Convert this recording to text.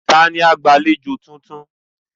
Ta ni agbàlejò tuntun?